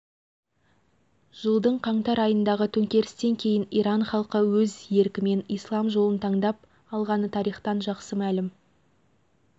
алланы пір тұтып аятолла хомейнидің соңынан ерген иран елі болашақтарына нық сенімді